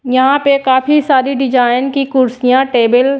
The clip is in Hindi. यहां पे काफी सारी डिजाइन की कुर्सियां टेबल --